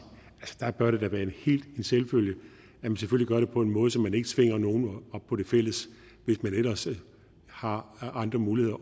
der bør det da være en selvfølge at man gør det på en måde så man ikke tvinger nogen op på det fælles hvis man ellers har andre muligheder